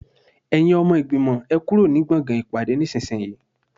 Ẹ̀yin ọmọ ìgbìmọ̀, ẹ kúrò ní gbọ̀ngàn ìpàdé nísinsìnyí